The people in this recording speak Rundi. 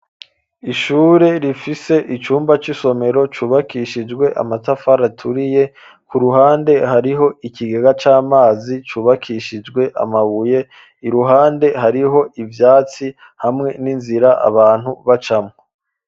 Ishure rifise icumba c'isomero cubakishijwe amatafara aturiye ku ruhande hariho ikigega c'amazi cyubakishijwe amabuye iruhande hariho ivyatsi hamwe n'inzira abantu bacamwo.